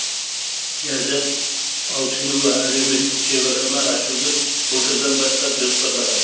ляззат алшынова әлеуметтік шеберхана ашуды былтырдан бастап жоспарлаған